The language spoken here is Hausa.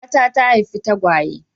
Matata ta haifi tagwaye.